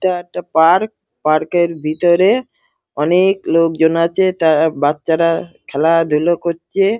ইটা একটা park park -এর ভেতরে অনেক-ক লোকজন আছে তার বাচ্চারা খেলা ধুলো করছে।